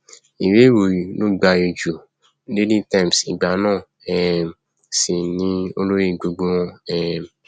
ìwé ìròyìn ló gbayì ju daily times ìgbà náà um sí ni olórí gbogbo wọn um